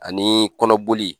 Ani kɔnɔ boli.